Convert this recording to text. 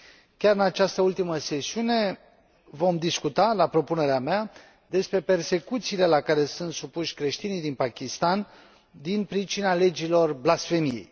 Chiar în această ultimă sesiune vom discuta, la propunerea mea, despre persecuțiile la care sunt supuși creștinii din Pakistan din pricina legilor blasfemiei.